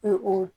O o